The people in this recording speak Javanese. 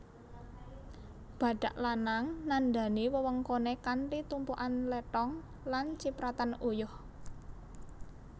Badhak lanang nandhani wewengkoné kanthi tumpukan lethong lan cipratan uyuh